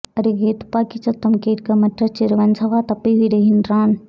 அருகே துப்பாக்கிச் சத்தம் கேட்க மற்றச் சிறுவன் சவா தப்பிவிடுகின்றான்